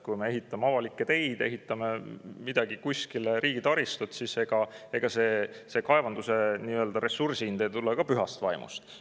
Kui me ehitame avalikke teid, kuskile mingit riigitaristut, siis ega see kaevanduse ressursi hind ei tule ka pühast vaimust.